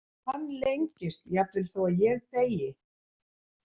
Hann lengist jafnvel þó að ég deyi.